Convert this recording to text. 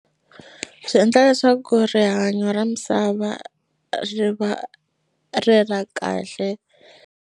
Swi endla leswaku rihanyo ra misava ri va ri ra kahle.